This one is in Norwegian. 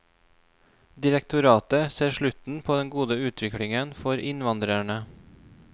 Direktoratet ser slutten på den gode utviklingen for innvandrerne.